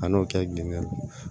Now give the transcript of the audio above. A n'o kɛ gili la